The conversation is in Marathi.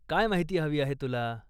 काय माहिती हवी आहे तुला?